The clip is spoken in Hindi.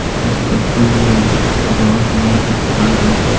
इस तस्वीर में बहुत लोग दिख रहा है।